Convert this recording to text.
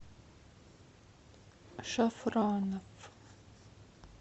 шафраноф